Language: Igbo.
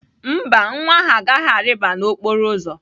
Mba, nwa ahụ agaghị arịba n'okporo ụzọ.